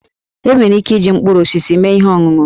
E nwere ike iji mkpụrụ osisi mee ihe ọṅụṅụ